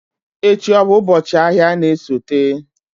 Echi ọ bụ ụbọchị ahịa na-esote?